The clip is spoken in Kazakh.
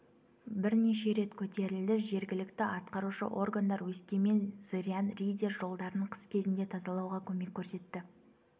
бірнеше рет көтерілді жергілікті атқарушы органдар өскемен зырян риддер жолдарын қыс кезінде тазалауға көмек көрсетті